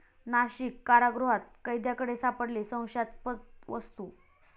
नाशिक कारागृहात कैद्याकडे सापडली संशयास्पद वस्तू!